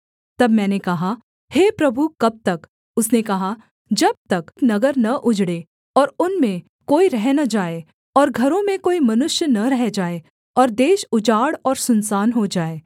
तब मैंने कहा हे प्रभु कब तक उसने कहा जब तक नगर न उजड़े और उनमें कोई रह न जाए और घरों में कोई मनुष्य न रह जाए और देश उजाड़ और सुनसान हो जाए